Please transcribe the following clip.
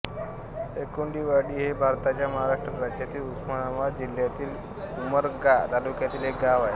एकुंडी वाडी हे भारताच्या महाराष्ट्र राज्यातील उस्मानाबाद जिल्ह्यातील उमरगा तालुक्यातील एक गाव आहे